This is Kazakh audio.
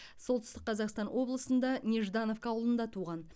солтүстік қазақстан облысында неждановка ауылында туған